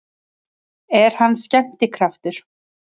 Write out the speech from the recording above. Er hann skemmtikraftur?